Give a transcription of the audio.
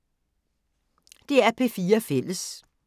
DR P4 Fælles